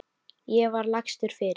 Ég var lagstur fyrir.